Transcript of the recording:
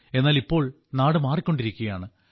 എന്നാൽ ഇപ്പോൾ നാട് മാറിക്കൊണ്ടിരിക്കുകയാണ്